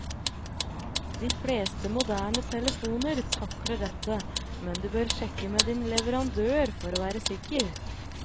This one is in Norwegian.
De fleste moderne telefoner takler dette, men du bør sjekke med din leverandør for å være sikker.